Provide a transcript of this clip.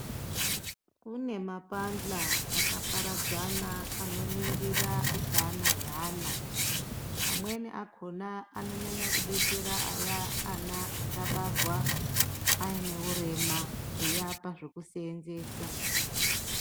Kunemapandla akaparadzana anoningira utano we ana. Amweni akhona, anonyanya kudetsera aya ana kabarwa ayine wurema, eyapa zvekusenzesa.